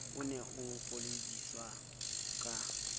o ne o ipoledisa ka